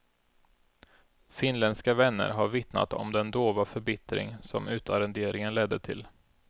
Finländska vänner har vittnat om den dova förbittring som utarrenderingen ledde till.